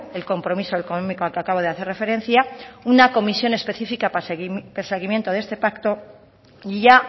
el compromiso económico al que acabo de hacer referencia una comisión específica para seguimiento de este pacto y ya